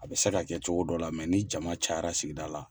A be se ka kɛ cogo dɔ la mɛ ni jama cayara sigida la